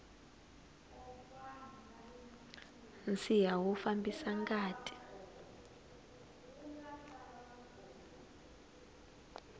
nsiha wu fambisa ngati